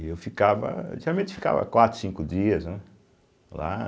E eu ficava... Geralmente, ficava quatro, cinco dias né lá.